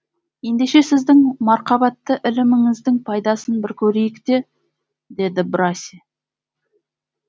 ендеше сіздің марқабатты іліміңіздің пайдасын бір көрейік те деді де браси